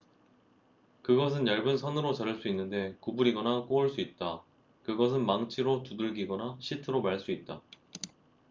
그것은 얇은 선으로 자를 수 있는데 구부리거나 꼬을 수 있다 그것은 망치로 두들기거나 시트로 말 수 있다